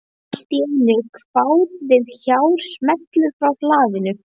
Allt í einu kvað við hár smellur frá hlaðinu.